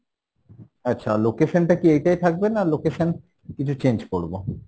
আচ্ছা location টা কি এইটাই থাকবে? না, location কিছু change করবো?